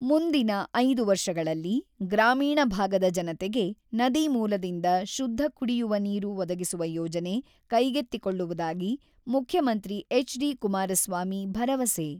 "ಮುಂದಿನ ಐದು ವರ್ಷಗಳಲ್ಲಿ ಗ್ರಾಮೀಣ ಭಾಗದ ಜನತೆಗೆ ನದಿ ಮೂಲದಿಂದ ಶುದ್ಧ ಕುಡಿಯುವ ನೀರು ಒದಗಿಸುವ ಯೋಜನೆ ಕೈಗೆತ್ತಿಕೊಳ್ಳುವುದಾಗಿ ಮುಖ್ಯಮಂತ್ರಿ ಎಚ್.ಡಿ.ಕುಮಾರಸ್ವಾಮಿ ಭರವಸೆ.